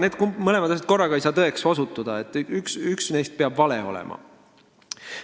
Need mõlemad asjad korraga ei saa tõde olla, üks neist peab vale olema.